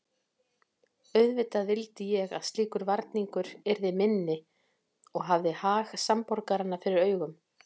Auðvitað vildi ég að slíkur varningur yrði minni og hafði hag samborgaranna fyrir augum.